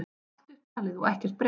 Allt upptalið og ekkert breytt.